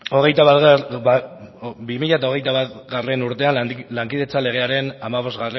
hogeita batgarrena urtean lankidetza legearen hamabostgarrena